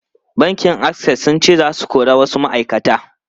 Bankin Access sun ce za su kori wasu ma’aikata.